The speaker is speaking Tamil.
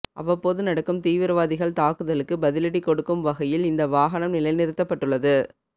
அவ்வப்போது நடக்கும் தீவிரவாதிகள் தாக்குதலுக்கு பதிலடி கொடுக்கும் வகையில் இந்த வாகனம் நிலை நிறுத்தப்பட்டுள்ளது